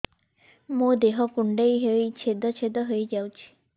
ମୋ ଦେହ କୁଣ୍ଡେଇ ହେଇ ଛେଦ ଛେଦ ହେଇ ଯାଉଛି